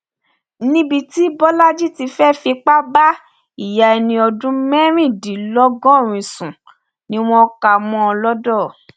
níbi tí bọlajì ti fẹẹ fipá bá ìyá ẹni ọdún mẹrìndínlọgọrin sùn ni wọn kà á mọ lodò